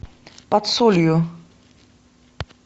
под солью